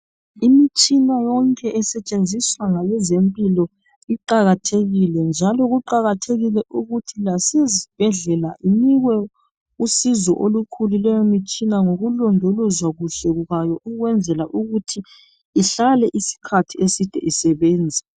Imitshina yonke esetshenziswa ngabezempilo iqakathekile njalo kuqakathekile ukuthi lasezibhedlela inikwe usizo olukhulu leyo mitshina ngokulondolozwa kuhle ukwenzela ukuthi ihlale isikhathi eside isebenza.